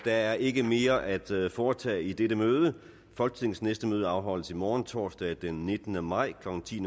er ikke mere at foretage i dette møde folketingets næste møde afholdes i morgen torsdag den nittende maj klokken ti